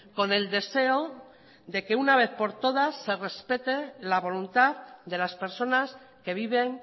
con el deseo de que una vez por todas se respete la voluntad de las personas que viven